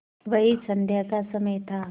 वही संध्या का समय था